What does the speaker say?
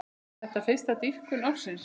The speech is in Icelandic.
Er þetta fyrsta dýpkun ársins.